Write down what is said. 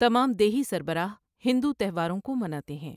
تمام دیہی سربراہ ہندو تہواروں کو مناتے ہیں۔